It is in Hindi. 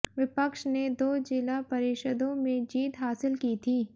विपक्ष ने दो जिला परिषदों में जीत हासिल की थी